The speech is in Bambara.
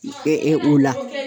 Ɛ ɛ o la